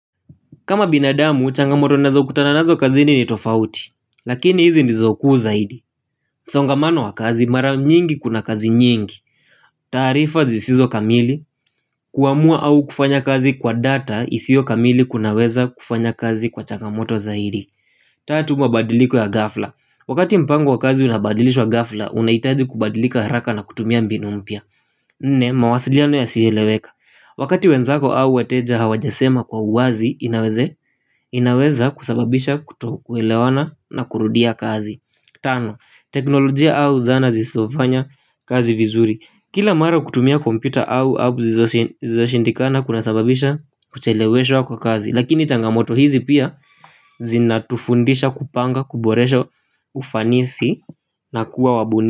Kama binadamu, changamoto nazo kutana nazo kazi ni ni tofauti. Lakini hizi ndizo kuu zaidi msongamano wa kazi, mara nyingi kuna kazi nyingi. Taarifa zisizo kamili kuamua au kufanya kazi kwa data isio kamili kunaweza kufanya kazi kuwa changamoto zaidi. Tatu mabadiliko ya ghafla. Wakati mpango wa kazi unabadilishwa ghafla unahitaji kubadilika haraka na kutumia mbinu mpya. Nne, mawasiliano ya sieleweka. Wakati wenzako au weteja hawajasema kwa uwazi inaweza kusababisha kutokulewana na kurudia kazi. Tano, teknolojia au zana zisofanya kazi vizuri. Kila mara kutumia kompyuta au app zilizoshindikana kuna sababisha kucheleweshwa kwa kazi. Lakini changamoto hizi pia zinatufundisha kupanga kuboresha ufanisi na kuwa wabuni.